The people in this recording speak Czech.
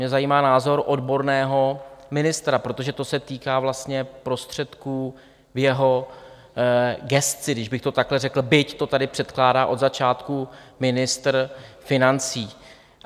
Mě zajímá názor odborného ministra, protože to se týká vlastně prostředků v jeho gesci, když bych to takhle řekl, byť to tady předkládá od začátku ministr financí.